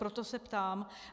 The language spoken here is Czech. Proto se ptám.